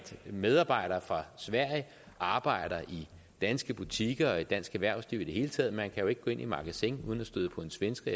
medarbejdere fra sverige arbejder i danske butikker og i dansk erhvervsliv det hele taget man kan jo ikke gå ind i magasin uden at støde på en svensker